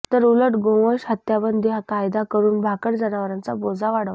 तर उलट गोवंश हत्याबंदी कायदा करून भाकड जनावरांचा बोजा वाढवला